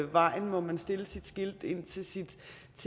vejen må man stille